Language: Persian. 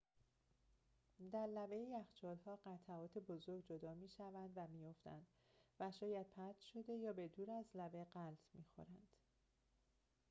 در لبه یخچال‌ها قطعات بزرگ جدا می‌شوند و می‌افتند و شاید پرت شده یا به دور از لبه غلت می‌خورند